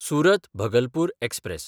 सुरत–भगलपूर express